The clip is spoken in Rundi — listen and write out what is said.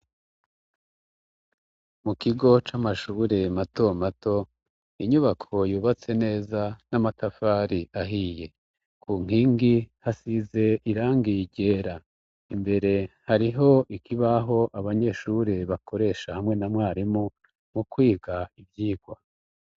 Mu kigo c'amashuri mato mato, inyubako yubatse neza n'amatafari ahiye. Ku nkingi hasize irangiye ryera, imbere hariho ikibaho abanyeshuri bakoresha, hamwe na mwarimu mu kwiga ivyigwa.